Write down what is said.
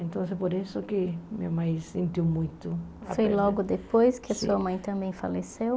Então é por isso que minha mãe se sentiu muito... Foi logo depois que sua mãe também faleceu?